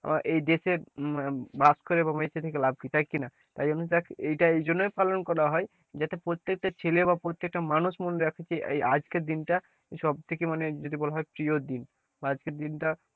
এই দেশে বাস করে এবং লাভ কি তাই কি না, তাই দেখ এইটা এই জন্যই পালন করা হয় যাতে প্রত্যেকটা ছেলে বা প্রত্যেকটা মানুষ মনে রাখে যে আজকের দিন তা সবথেকে মানে যদি বলা হয় প্রিয় দিন বা আজকের দিন টা,